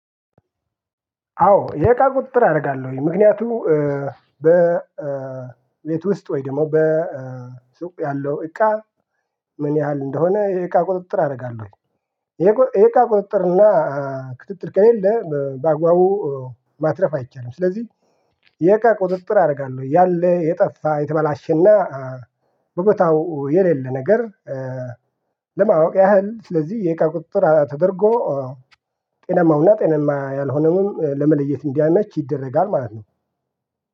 አዎ የእቃ ቁጥጥር አደርጋለሁኝ ምክንያቱም ቤት ውስጥ ወይ ደግሞ በ በሱቅ ያለው እቃ ምን ያህል እንደሆነ ይሄ እቃ ቁጥጥር አደርጋለሁ። ይሄ እቃ ቁጥጥር እና ክትትል ከሌለ በአግባቡ ማትረፍ አይቻልም። ስለዚህ የእቃ ቁጥጥር አደርጋለሁ ያለ የጠፋ የተበላሸና በቦታው የሌለ ነገር። ለማወቅ ያህል ስለዚህ የእቃ ቁጥጥር ተደርጎ ጤናማውና ጤናማ ያልሆነውን ለመለየት እንዲያመች ይደረጋል ማለት ነው